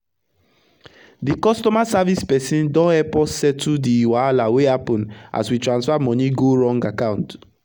d customer service person don epp us settle d wahala wey happen as we transfer money go wrong account